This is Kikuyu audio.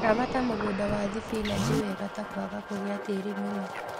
Ramata mũgũnda wa thibinachi wega ta kwaga kũgia tiri mũno